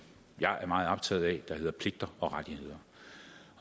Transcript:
jeg er meget optaget af som hedder pligter og rettigheder